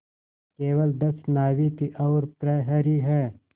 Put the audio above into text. केवल दस नाविक और प्रहरी है